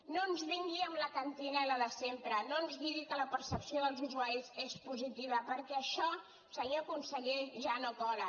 no ens vingui amb la cantarella de sempre no ens digui que la percepció dels usuaris és positiva perquè això senyor conseller ja no cola